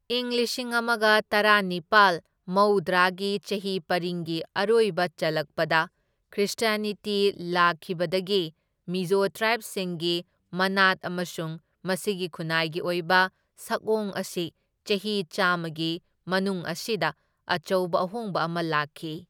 ꯢꯪ ꯂꯤꯁꯤꯡ ꯑꯃꯒ ꯇꯔꯥꯅꯤꯄꯥꯜ ꯃꯧꯗ꯭ꯔꯥꯒꯤ ꯆꯍꯤ ꯄꯔꯤꯡꯒꯤ ꯑꯔꯣꯏꯕ ꯆꯜꯂꯛꯄꯗ ꯈ꯭ꯔ꯭ꯤꯁꯇ꯭ꯌꯅꯤꯇꯤ ꯂꯥꯛꯈꯤꯕꯗꯒꯤ ꯃꯤꯖꯣ ꯇ꯭ꯔꯥꯏꯕꯁꯤꯡꯒꯤ ꯃꯅꯥꯠ ꯑꯃꯁꯨꯡ ꯃꯁꯤꯒꯤ ꯈꯨꯟꯅꯥꯏꯒꯤ ꯑꯣꯏꯕ ꯁꯛꯑꯣꯡ ꯑꯁꯤ ꯆꯍꯤ ꯆꯥꯝꯃꯒꯤ ꯃꯅꯨꯡ ꯑꯁꯤꯗ ꯑꯆꯧꯕ ꯑꯍꯣꯡꯕ ꯑꯃ ꯂꯥꯛꯈꯤ꯫